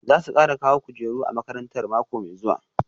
Za su kara kawo kujeru a makarantar mako mai zuwa